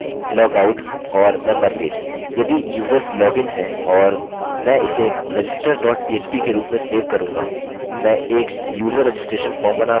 log in log out और member page यदि users login हैं और मैं इसे register dot php के रूप में सेव करूँगा